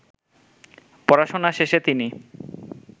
পড়াশোনা শেষে তিনি